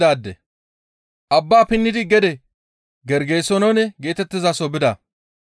Abbaa pinnidi gede Gergesenoone geetettizaso bida.